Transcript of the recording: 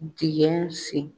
Digɛn sen.